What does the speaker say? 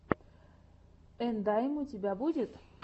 ендайм у тебя будет